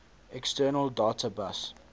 external data bus